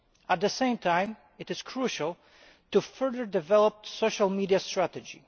At the same time it is crucial to further develop social media strategy.